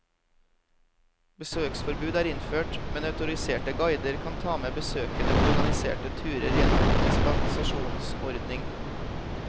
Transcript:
Besøksforbud er innført, men autoriserte guider kan ta med besøkende på organiserte turer gjennom dispensasjonsordning.